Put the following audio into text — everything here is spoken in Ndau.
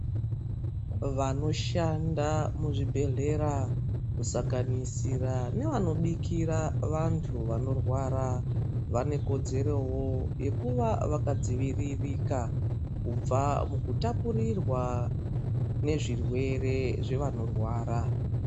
Vanoshanda muzvibhedhlera kusanganisira nevano bikira vantu vanorwara vane kodzerowo yekuva vakadzivirirka kubva mukutapurirwa muzvirwere zvevanorwara.